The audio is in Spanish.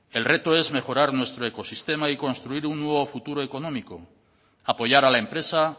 el reto es mejorar nuestro ecosistema y construir un nuevo futuro económico apoyar a la empresa